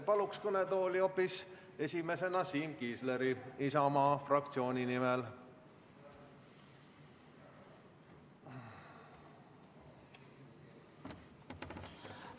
Palun kõnetooli esimesena hoopis Siim Kiisleri Isamaa fraktsiooni nimel sõna võtma.